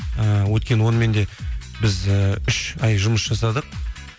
ііі өйткені онымен де біз ііі үш ай жұмыс жасадық